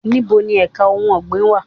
Níboni èka ohun ọ̀gbìn wà?